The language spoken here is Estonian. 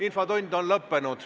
Infotund on lõppenud.